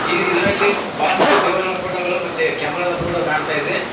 ಇದ್ ಇದ್ರಲ್ಲಿ ಬಹಳಷ್ಟು ದೇವರುಗಳು ಫೋಟೋ ಗಳು ಮತ್ತೆ ಕ್ಯಾಮೆರಾ ದ ಫೋಟೋ ಕಾಣ್ತಾ ಇದೆ.